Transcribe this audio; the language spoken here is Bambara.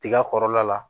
Tiga kɔrɔla la